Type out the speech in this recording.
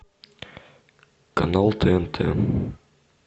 канал тнт